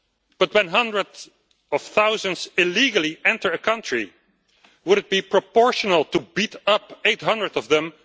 But when hundreds of thousands illegally enter a country, would it be proportional to beat up 800 of them